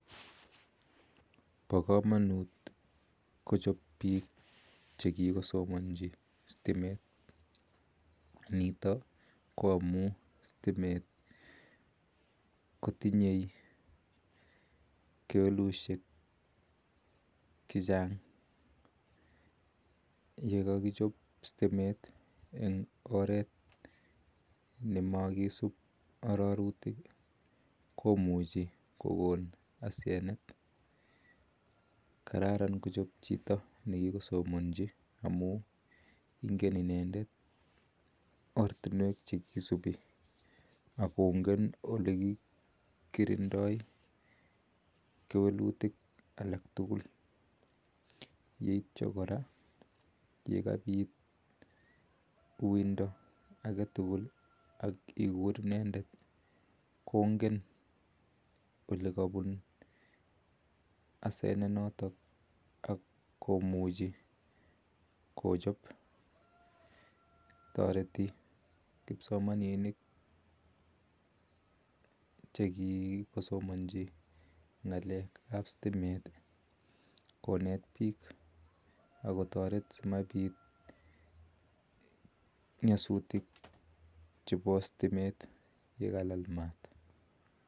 Pakamanuuut kochop piik chekikosomanchii stimeet nitok ko amuun stimee kotinyee kewalutik chechang ngomakichop stimeet komnyee komuchiii koeek taousheek alak magat kochop chito nikisomanchii ngaleek ap sitimeet yeityoo koraa yekapiit uindaaa kongeen olikapunuu asenet notok tariti kimsomaninik konet piik ako taret simapiit nnyasutik chepo stimeet ole kalala maaat